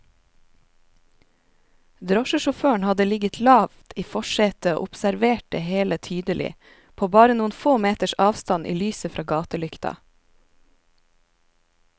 Drosjesjåføren hadde ligget lavt i forsetet og observert det hele tydelig, på bare noen få meters avstand i lyset fra gatelykta.